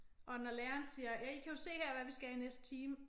Og når læreren siger ja I kan jo se her hvad vi skal i næste time